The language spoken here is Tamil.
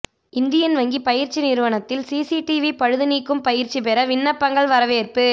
இந்தியன் வங்கி பயிற்சி நிறுவனத்தில் சிசிடிவி பழுது நீக்கும் பயிற்சி பெற விண்ணப்பங்கள் வரவேற்பு